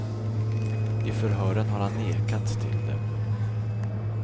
I förhören har han nekat till det.